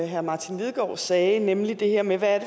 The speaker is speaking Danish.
herre martin lidegaard sagde nemlig det her med hvad